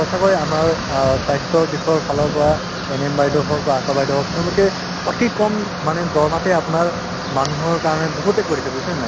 সঁচাকৈ আমাৰ অ স্বাস্থ্যৰ দিশৰফালৰ পৰা ANM বাইদেউ হওক বা আশা বাইদেউ হওক তেওঁলোকে অতি কম মানে দৰমহাতে আপোনাৰ মানুহৰ কাৰণে বহুতে কৰিছে বুজিছানে নাই